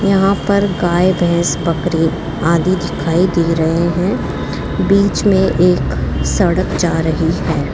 यहां पर गाय भैंस बकरीद आदि दिखाई दे रहे हैं बीच में एक सड़क जा रही है।